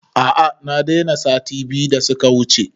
A a na daina sati biyu da suka wuce